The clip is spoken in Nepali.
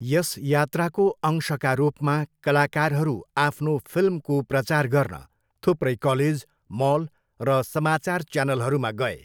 यस यात्राको अंशका रूपमा, कलाकारहरू आफ्नो फिल्मको प्रचार गर्न थुप्रै कलेज, मल र समाचार च्यानलहरूमा गए।